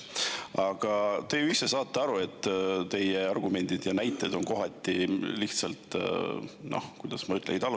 Aga te ju ise saate aru, et teie argumendid ja näited kohati lihtsalt – kuidas ma ütlen?